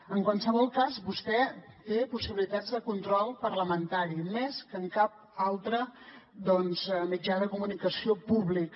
en qualsevol cas vostè hi té possibilitats de control parlamentari més que en cap altre mitjà de comunicació públic